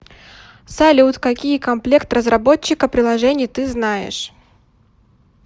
салют какие комплект разработчика приложений ты знаешь